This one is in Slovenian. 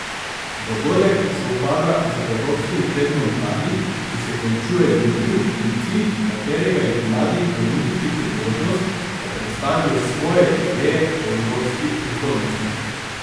Dogodek sovpada z evropskim tednom mladih, ki se končuje jutri in cilj katerega je mladim ponuditi priložnost, da predstavijo svoje ideje o evropski prihodnosti.